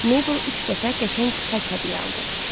Mabel üç dəfə qəşəng xəz hədiyyə aldı.